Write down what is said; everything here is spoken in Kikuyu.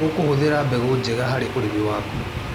ũkũhũthĩra mbegũ njega harĩ ũrĩmi waku.